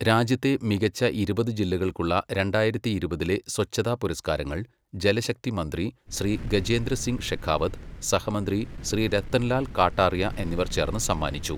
രാജ്യത്തെ മികച്ച ഇരുപത് ജില്ലകൾക്കുള്ള രണ്ടായിരത്തി ഇരുപതിലെ സ്വച്ഛത പുരസ്കാരങ്ങൾ ജലശക്തി മന്ത്രി ശ്രീ ഗജേന്ദ്ര സിംഗ് ഷെഖാവത്, സഹമന്ത്രി ശ്രീ രത്തൻലാൽ കാട്ടാറിയാ എന്നിവർ ചേർന്ന് സമ്മാനിച്ചു.